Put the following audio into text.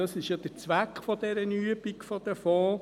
Das ist ja der Zweck dieser Übung mit den Fonds.